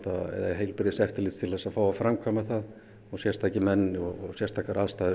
heilbrigðiseftirlits til að fá að framkvæma það sérstaka menn og sérstakar aðstæður